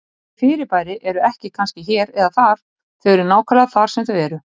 Þessi fyrirbæri eru ekki kannski hér eða þar, þau eru nákvæmlega þar sem þau eru.